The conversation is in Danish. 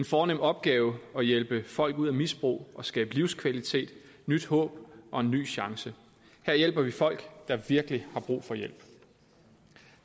fornem opgave at hjælpe folk ud af misbrug og skabe livskvalitet nyt håb og en ny chance her hjælper vi folk der virkelig har brug for hjælp